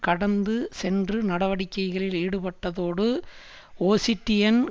கடந்து சென்று நடவடிக்கைகளில் ஈடுபட்டதோடு ஒசிட்டியன்